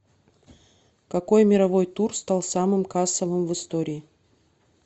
какой мировой тур стал самым кассовым в истории